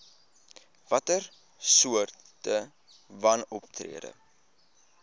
watter soorte wanoptrede